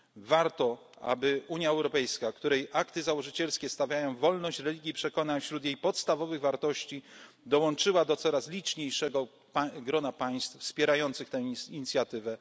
religijnych. Warto, aby Unia Europejska, której akty założycielskie stawiają wolność religii i przekonań wśród jej podstawowych wartości, dołączyła do coraz liczniejszego grona państw wspierających tę